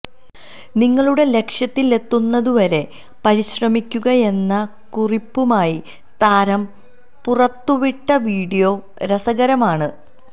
നിങ്ങളുടെ ലക്ഷ്യത്തിലെത്തുന്നതുവരെ പരിശ്രമിക്കുകയെന്ന കുറിപ്പുമായി താരം പുറത്തുവിട്ട വീഡിയോ രസകരമാണ്